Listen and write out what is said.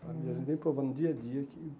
E a gente vem provando dia a dia que.